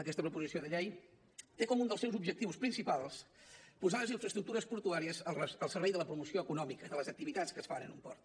aquesta proposició de llei té com un dels seus objectius principals posar les infraestructures portuàries al servei de la promoció econòmica de les activitats que es fan en un port